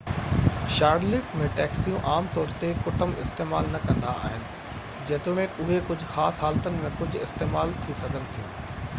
Charlotte ۾ ٽيڪسيون عام طور تي ڪٽنب استعمال نہ ڪندا آهن جيتوڻڪ اهي ڪجهہ خاص حالتن ۾ ڪجهہ استعمال ٿي سگهن ٿيون